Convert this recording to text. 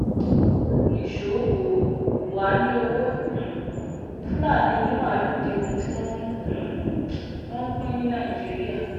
nìṣó wò wáá ní ọwọ́ um fúlàní onímaalùú di ohun tí wọ́n um ń pín ní nàìjíríà